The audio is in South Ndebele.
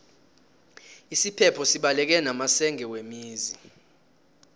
isiphepho sibaleke namasenge wemizi